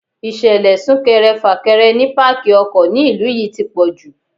Ìṣẹ̀lẹ̀ súnkẹrẹ fàkẹrẹ ni pákí ọkọ̀ ni ìlú yí ti pọ̀jù.